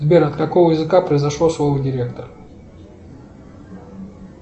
сбер от какого языка произошло слово директор